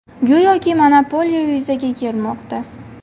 Go‘yoki monopoliya yuzaga kelmoqda.